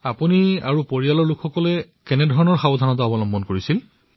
আপুনি নিজে কি কি সাৱধানতা অৱলম্বন কৰিছিল নিজৰ পৰিয়ালৰ বাবে কি কি সাৱধানতা অৱলম্বন কৰিছিল